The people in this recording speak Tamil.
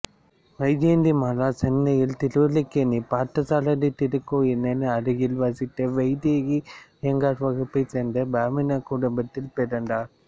வைஜெயந்திமாலா சென்னையில் திருவல்லிக்கேணியில் பார்த்தசாரதி திருக்கோயிலின் அருகில் வசித்த வைதீக அய்யங்கார் வகுப்பை சேர்ந்த பிராமண குடும்பத்தில் பிறந்தார்